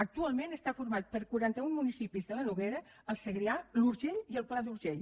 actualment està format per quaranta un municipis de la noguera el segrià l’urgell i el pla d’urgell